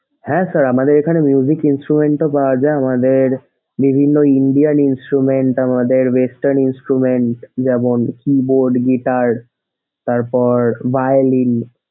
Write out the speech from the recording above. হ্যাঁ sir আমাদের এখানে instrument ও পাওয়া যায়। আমাদের বিভিন্ন indian instrument আমাদের western instrument যেমন keyboard, guitar তারপর violine